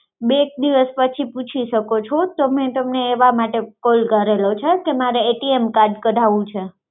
બે એક દિવસ પછી પૂછી શકો છો તમે એવા માટે call કરેલો છે કે મારે card કઢાવું છે